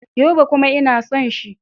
Yobe. kuma ina son shi.